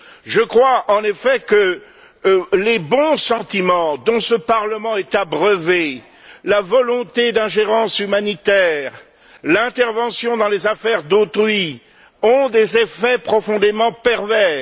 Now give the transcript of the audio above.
Je crois, en effet, que les bons sentiments dont ce Parlement est abreuvé, la volonté d'ingérence humanitaire, l'intervention dans les affaires d'autrui ont des effets profondément pervers.